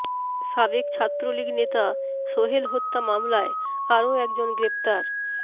সাবেক ছাত্রলীগ নেতা সোহেল হত্যা মামলায় আরও একজন গ্রেফতার